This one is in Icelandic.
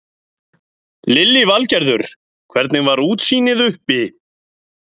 Lillý Valgerður: Hvernig var útsýnið uppi?